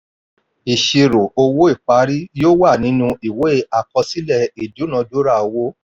ìṣirò owó ìparí yóò wà nínú ìwé àkọsílẹ̀ ìdúnadúrà owó.